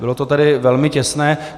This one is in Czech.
Bylo to tedy velmi těsné.